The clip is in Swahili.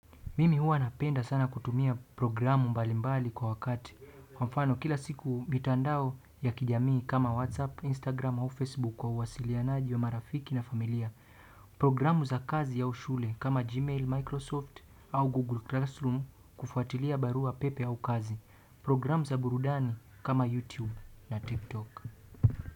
Mimi huwa napenda sana kutumia programu mbali mbali kwa wakati. Kwa mfano kila siku mitandao ya kijamii kama whatsapp, instagram au facebook kwa uwasilianaji wa marafiki na familia programu za kazi au shule kama Gmail, Microsoft au Google Classroom kufuatilia barua pepe au kazi. Programu za burudani kama YouTube na TikTok.